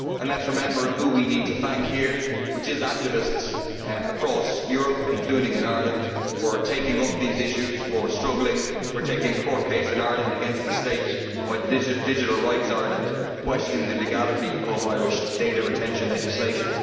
Let us remember who we need to thank here which is activists across Europe, including in Ireland, for taking up these issues, for struggling, for taking a court case in Ireland against the state, by Digital Rights Ireland, questioning the legality of Irish data retention legislation.